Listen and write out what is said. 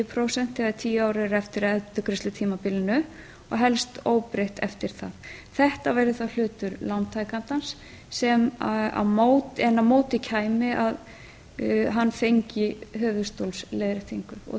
prósent þegar tíu ár eru eftir af endurgreiðslutímabilinu og helst óbreytt eftir það þetta verði þá hlutur lántakandans en á móti kæmi að hann fengi höfuðstólsleiðréttingin